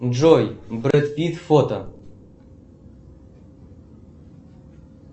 джой брэд питт фото